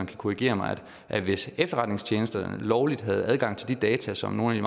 kan korrigere mig at hvis efterretningstjenesterne lovligt havde adgang til de data som nogle af